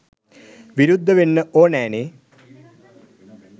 විරුද්ධ වෙන්න ඕනෑනේ